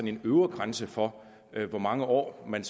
en øvre grænse for hvor mange år man